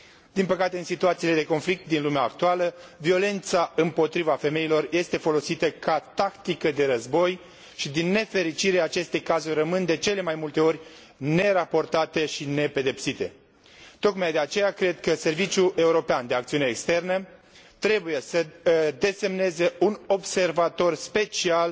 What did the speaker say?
Din păcate, în situațiile de conflict din lumea actuală, violența împotriva femeilor este folosită ca tactică de război, și din nefericire, aceste cazuri rămân de cele mai multe ori neraportate și nepedepsite. Tocmai de aceea, cred că Serviciul European de Acțiune Externă trebuie să desemneze un observator special